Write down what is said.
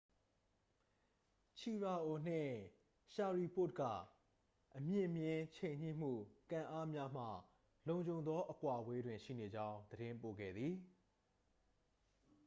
ချီရာအို နှင့် ရှရီပို့တ် က အမြင့်မျဉ်း ချိန်ညှိမှု ကန်အားများမှ လုံခြုံသော အကွာအဝေးတွင် ရှိနေကြောင်း သတင်းပို့ခဲ့သည်